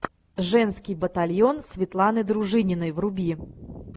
женский батальон светланы дружининой вруби